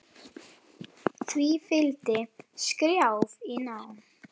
Því fylgdi skrjáf í ná